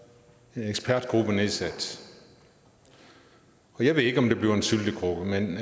en ekspertgruppe nedsat og jeg ved ikke om det bliver en syltekrukke men